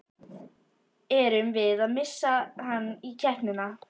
Erum við að missa hann í keppnina?